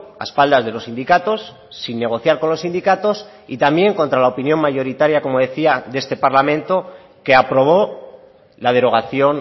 a espaldas de los sindicatos sin negociar con los sindicatos y también contra la opinión mayoritaria como decía de este parlamento que aprobó la derogación